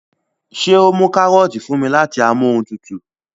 ṣe o mú karọọti fún mí láti Amóhuntutù?